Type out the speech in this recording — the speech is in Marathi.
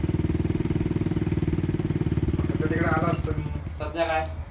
असं तर तिकडे आला असतो मी सध्या काय